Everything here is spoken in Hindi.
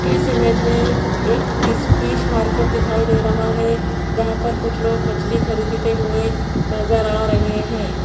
इस इमेज में एक फिश फिश मार्केट दिखाई दे रहा है जहां पर कुछ लोग मछली खरीदते हुए नजर आ रहे हैं।